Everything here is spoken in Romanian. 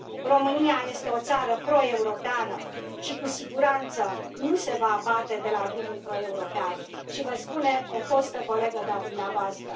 România este o țară pro europeană și cu siguranță nu se va abate de la drumul pro european și vă spune o fostă colegă de a dumneavoastră.